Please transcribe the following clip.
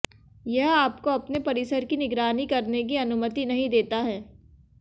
यह आपको अपने परिसर की निगरानी करने की अनुमति नहीं देता है